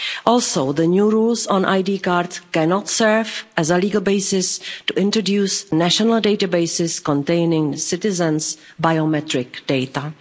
Also, the new rules on ID cards cannot serve as a legal basis to introduce national databases containing citizens' biometric data.